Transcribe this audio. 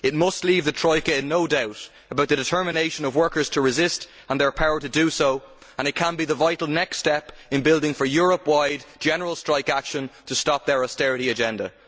It must leave the Troika in no doubt about the determination of workers to resist, and their power to do so, and it can be the vital next step in building Europe wide general strike action to stop their austerity agenda.